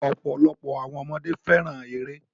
Ọ̀pọ̀lọpọ̀ àwọn ọmọdé fẹ́ràn eré